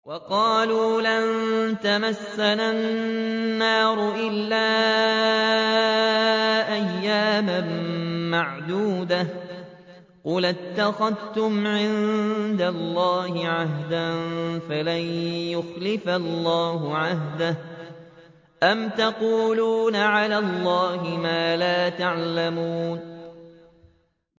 وَقَالُوا لَن تَمَسَّنَا النَّارُ إِلَّا أَيَّامًا مَّعْدُودَةً ۚ قُلْ أَتَّخَذْتُمْ عِندَ اللَّهِ عَهْدًا فَلَن يُخْلِفَ اللَّهُ عَهْدَهُ ۖ أَمْ تَقُولُونَ عَلَى اللَّهِ مَا لَا تَعْلَمُونَ